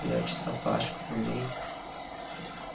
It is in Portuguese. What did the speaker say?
Ele é artista plástico também.